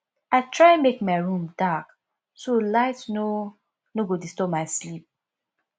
i try make my room dark so light no no go disturb my sleep